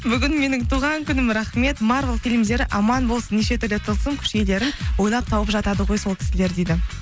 бүгін менің туған күнім рахмет марвел фильмдері аман болсын неше түрлі тылсым күш иелерін ойлап тауып жатады ғой сол кісілер дейді